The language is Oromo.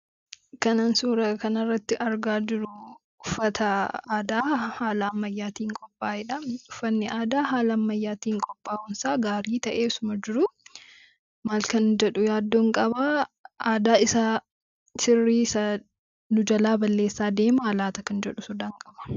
Kanan suuraa kanarratti argaa jiru uffata aadaa haala ammayyaatiin qophaayedha. Uffanni aadaa haala ammayyaatiin qophaa'uun isaa gaarii ta'ee osoo jiruu maal kan jedhu yaaddoon qabaa aadaa isaa kirrii isaa nu jalaa balleessaa deemaa laata kan jedhu sodaan qaba.